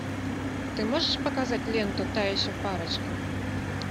ты можешь показать ленту та еще парочка